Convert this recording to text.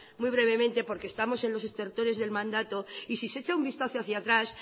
muy brevemente porque estamos en los del mandato y si se echa un vistazo hacia atrás